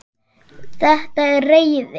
Þetta er reiði.